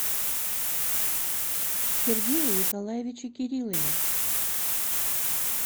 сергее николаевиче кириллове